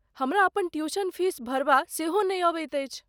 हमरा अपन tuition fee भरबा सेहो नहि अबैत अछि।